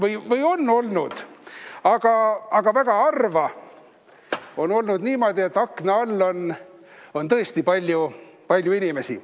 Õigemini on olnud, aga väga harva on olnud niimoodi, et akna all on palju inimesi.